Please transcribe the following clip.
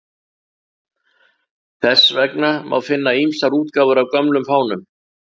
Þess vegna má finna ýmsar útgáfur af gömlum fánum.